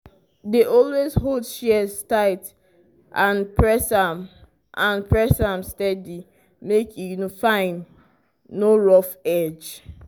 dey always hold shears tight and press am and press am steady make e fine no rough edge.